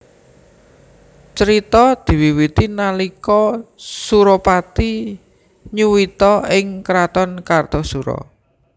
Crita diwiwiti nalika Surapati nyuwita ing kraton Kartasura